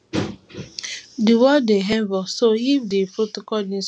di world dey evolve so if di protocol needs changing no hesitate